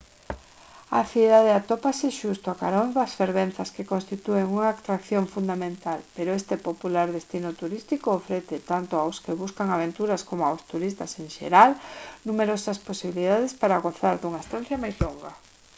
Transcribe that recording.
a cidade atópase xusto a carón das fervenzas que constitúen unha atracción fundamental pero este popular destino turístico ofrece tanto aos que buscan aventuras coma aos turistas en xeral numerosas posibilidades para gozar dunha estancia máis longa